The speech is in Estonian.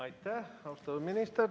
Aitäh, austatud minister!